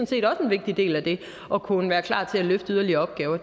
set også en vigtig del af det at kunne være klar til at løfte yderligere opgaver